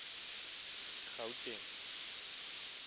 gauteng